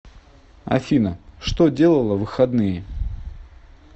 афина что делала в выходные